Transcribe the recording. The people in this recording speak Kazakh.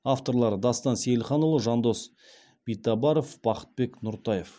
авторлары дастан сейілханұлы жандос битабаров бақытбек нұртаев